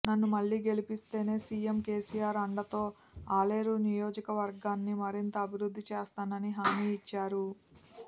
నన్ను మళ్లీ గెలిపిస్తే సీఎం కేసీఆర్ అండతో ఆలేరు నియోజకవర్గాన్ని మరింత అభివృద్ధి చేస్తానని హామీ ఇచ్చారు